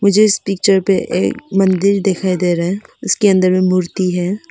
मुझे इस पिक्चर पे एक मंदिर दिखाई दे रहा है उसके अंदर में मूर्ति है।